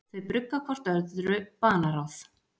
Þau brugga hvort öðru banaráð.